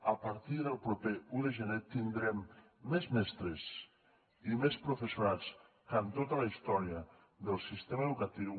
a partir del proper un de gener tindrem més mestres i més professorat que en tota la història del sistema educatiu